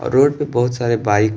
road पे बहुत सारे बाइक --